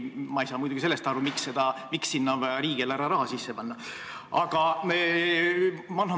Ma ei saa muidugi aru sellest, miks sinna on vaja riigieelarve raha sisse panna.